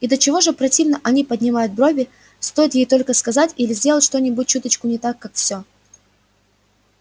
и до чего же противно они поднимают брови стоит ей только сказать или сделать что-нибудь чуточку не так как все